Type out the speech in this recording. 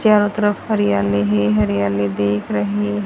चारों तरफ हरियाली ही हरियाली दिख रही--